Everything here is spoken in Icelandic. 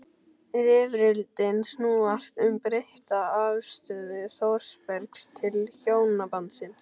Rifrildin snúast um breytta afstöðu Þórbergs til hjónabandsins.